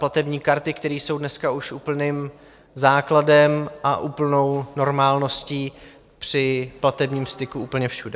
Platební karty, které jsou dneska už úplným základem a úplnou normálností při platebním styku úplně všude.